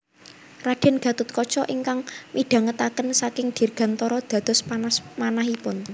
Raden Gatotkaca ingkang midhangetaken saking dirgantara dados panas manahipun